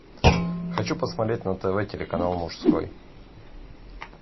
хочу посмотреть на тв телеканал мужской